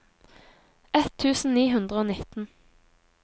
ett tusen ni hundre og nitten